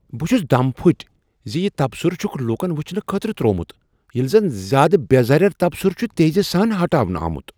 بہٕ چھُس دم پھٕٹۍ زِ یہ تبصرٕ چھکھ لوٗکن وچھنہٕ خٲطرٕ ترٛوومت ییٚلہ زن زیادٕ بے ضرر تبصرٕ چھ تیزی سان ہٹاونہٕ آمُت۔